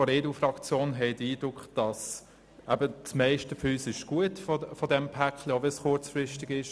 Seitens der EDU-Fraktion haben wir den Eindruck, dass das Päcklein zum grössten Teil gut ist und gespart werden kann, auch wenn dies kurzfristig ist.